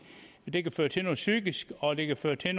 det kan føre til noget psykisk og det kan føre til